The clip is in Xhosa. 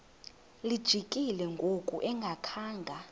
lijikile ngoku engakhanga